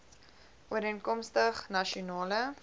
ooreenkomstig nasion ale